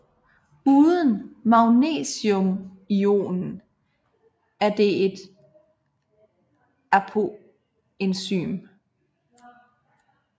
Uden magnesiumionen er det et apoenzym